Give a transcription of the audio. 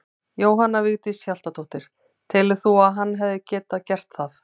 Jóhanna Vigdís Hjaltadóttir: Telur þú að hann hefði getað gert það?